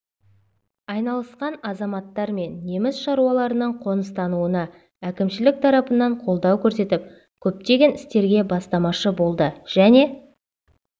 айналысқан азаматтар мен неміс шаруаларының қоныстануына әкімшілік тарапынан қолдау көрсетіп көптеген істерге бастамашы болды және